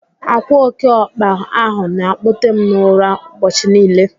Akwa oke ọkpa ahụ na-akpote m n'ụra ụbọchị niile.